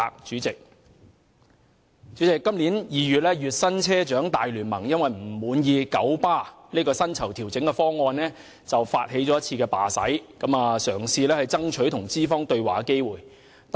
主席，今年2月，月薪車長大聯盟因不滿九巴的薪酬調整方案，發起了一次罷駛，嘗試爭取與資方對話的機會。